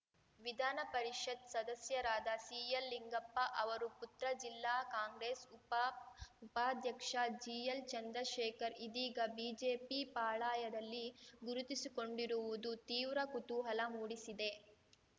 ವಿಧಾನ ಪರಿಷತ್‌ ಸದಸ್ಯರಾದ ಸಿಎಲ್ಲಿಂಗಪ್ಪ ಅವರು ಪುತ್ರ ಜಿಲ್ಲಾ ಕಾಂಗ್ರೆಸ್‌ ಉಪಾಧ್ಯಕ್ಷ ಜಿಎಲ್‌ಚಂದ್ರಶೇಖರ್‌ ಇದೀಗ ಬಿಜೆಪಿ ಪಾಳಾಯದಲ್ಲಿ ಗುರುತಿಸಿಕೊಂಡಿರುವುದು ತೀವ್ರ ಕುತೂಹಲ ಮೂಡಿಸಿದೆ